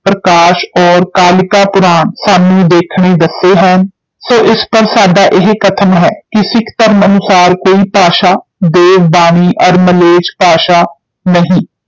ਪ੍ਰਕਾਸ਼ ਔਰ ਕਾਲਿਕਾ ਪੁਰਾਣ ਸਾਨੂੰ ਦੇਖਣੇ ਦੱਸੇ ਹੈਨ ਸੋ ਇਸ ਪਰ ਸਾਡਾ ਇਹ ਕਥਨ ਹੈ ਕਿ ਸਿੱਖ ਧਰਮ ਅਨੁਸਾਰ ਕੋਈ ਭਾਸ਼ਾ, ਦੇਵ ਬਾਣੀ ਅਰ ਮਲੇਛ ਭਾਸ਼ਾ ਨਹੀਂ,